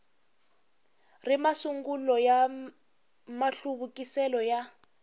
ri masungulo ya mahluvukisele ya